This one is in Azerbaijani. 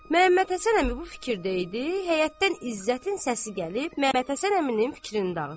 Məhəmməd Həsən əmi bu fikirdə idi, həyətdən İzzətin səsi gəlib Məhəmməd Həsən əminin fikrini dağıtdı.